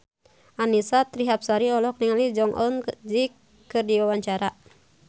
Annisa Trihapsari olohok ningali Jong Eun Ji keur diwawancara